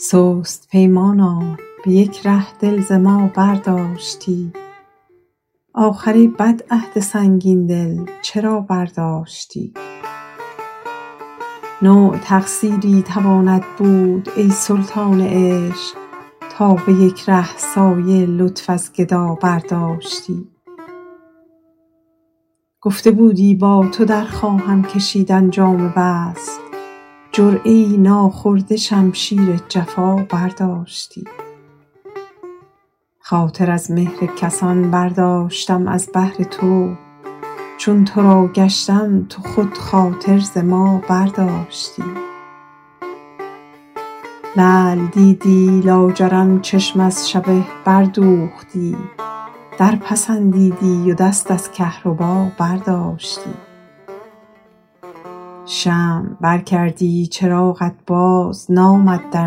سست پیمانا به یک ره دل ز ما برداشتی آخر ای بد عهد سنگین دل چرا برداشتی نوع تقصیری تواند بود ای سلطان عشق تا به یک ره سایه لطف از گدا برداشتی گفته بودی با تو در خواهم کشیدن جام وصل جرعه ای ناخورده شمشیر جفا برداشتی خاطر از مهر کسان برداشتم از بهر تو چون تو را گشتم تو خود خاطر ز ما برداشتی لعل دیدی لاجرم چشم از شبه بردوختی در پسندیدی و دست از کهربا برداشتی شمع بر کردی چراغت بازنامد در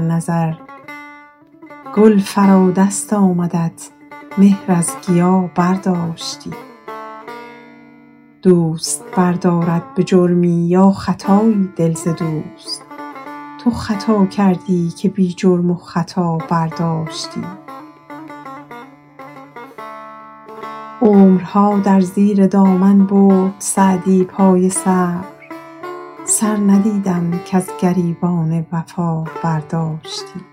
نظر گل فرا دست آمدت مهر از گیا برداشتی دوست بردارد به جرمی یا خطایی دل ز دوست تو خطا کردی که بی جرم و خطا برداشتی عمرها در زیر دامن برد سعدی پای صبر سر ندیدم کز گریبان وفا برداشتی